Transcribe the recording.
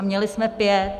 A měli jsme pět.